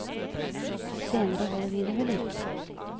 Senere holder vi det ved like.